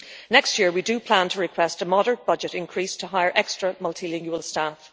Next year we plan to request a moderate budget increase to hire extra multilingual staff.